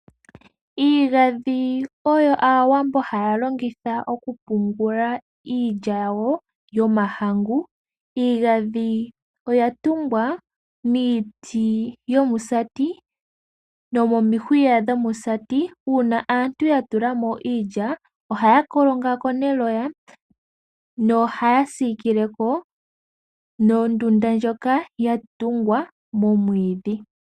Iigandhi oyo aawambo haya longitha okupungula iilya yawo yomahangu. Iigandhi oya tungwa miiti yomusati nomoni hwiya dhomusati, uuna aantu ya tulamo iiya ohaya kolonga ko neloya nohaya sikileko nondunda ndjoka yatungwa momwiidhi.